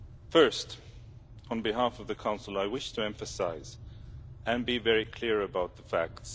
First, on behalf of the Council, I wish to emphasise, and be very clear about, the facts.